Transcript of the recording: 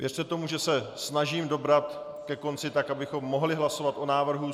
Věřte tomu, že se snažím dobrat ke konci tak, abychom mohli hlasovat o návrhu.